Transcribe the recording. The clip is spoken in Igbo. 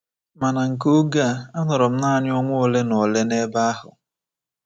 Ma na nke oge a, anọrọ m nanị ọnwa ole na ole n’ebe ahụ.